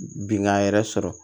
Bingan yɛrɛ sɔrɔ